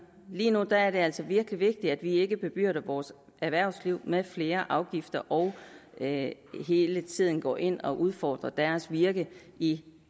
lige nu er det altså virkelig vigtigt at vi ikke bebyrder vores erhvervsliv med flere afgifter og ikke hele tiden går ind og udfordrer deres virke i